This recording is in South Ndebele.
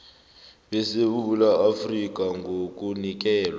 besewula afrika ngokunikelwa